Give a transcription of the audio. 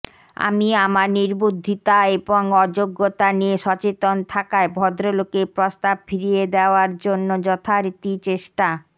আমি আমার নির্বুদ্ধিতা এবং অযোগ্যতা নিয়ে সচেতন থাকায় ভদ্রলোকের প্রস্তাব ফিরিয়ে দেওয়ার জন্য যথারীতি চেষ্টা